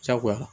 Diyagoya